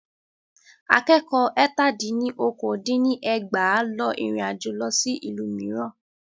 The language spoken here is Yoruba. Akẹ́kọ̀ọ́ ẹ́tà dín ní okòó dín ní ẹgbàá lọ ìrìnàjò lọ sí ìlú mìíràn.